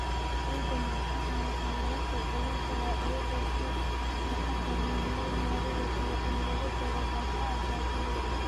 Ciidda milixda ah waxaa lagu soo celin karaa iyada oo si taxadar leh loo maareeyo iyo in lagu daro walxaha dabiiciga ah.